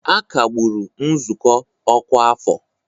A kagburu nzukọ ọkwa afọ